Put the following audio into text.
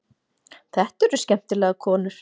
Þetta eru skemmtilegar konur.